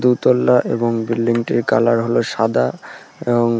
দুতলা এবং বিল্ডিংটির কালার হলো সাদা এবং--